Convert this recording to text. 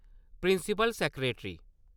principal secretary